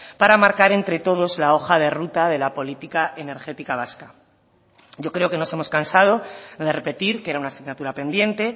para marcar entre todos la hoja de ruta de la política energética vasca yo creo que nos hemos cansado de repetir que era una asignatura pendiente